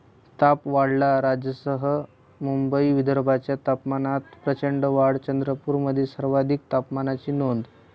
ताप' वाढला! राज्यासह मुंबई, विदर्भाच्या तापमानात प्रचंड वाढ, चंद्रपूरमध्ये सर्वाधिक तापमानाची नोंद